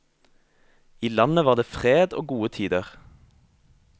I landet var det fred og gode tider.